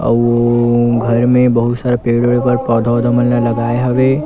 अउ घर में बहुत सारा पेड़ वेड पौधा मन ल लगाए हवे।